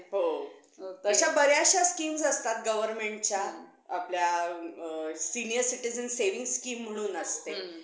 की जर आपल्याला जायचं असेल कोणत्या field मध्ये तर medical field मध्येच जाऊ आणि medical field मध्ये जायचं असेल तर science घ्यायचं होतं तर मी medical science घेतलं